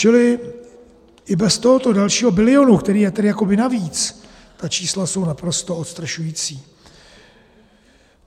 Čili i bez tohoto dalšího bilionu, který je tedy jakoby navíc, ta čísla jsou naprosto odstrašující.